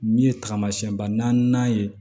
Min ye tagamasɛnba naani ye